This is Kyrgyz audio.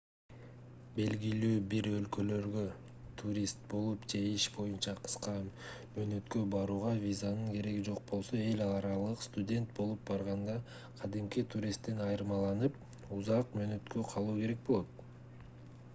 белгилүү бир өлкөлөргө турист болуп же иш боюнча кыска мөөнөткө барууга визанын кереги жок болсо эл аралык студент болуп барганда кадимки туристтен айырмаланып узак мөөнөткө калуу керек болот